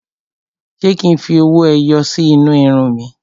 Ṣé kí n fi owó ẹyọ sí inú irun mi?